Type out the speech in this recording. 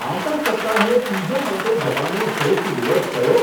આવતા સપ્તાહે પીઝા માટે જવાનો શ્રેષ્ઠ દિવસ કયો